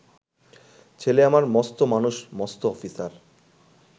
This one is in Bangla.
ছেলে আমার মস্ত মানুষ মস্ত অফিসার